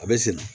A bɛ sen